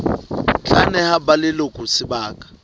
tla neha ba leloko sebaka